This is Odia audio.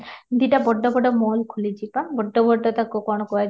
ଦି ଟା ବଡ ବଡ ମହଲ ଖୋଲିଛି ତ ବଡ ବଡ ତାକୁ କ'ଣ କୁହାଯାଏ?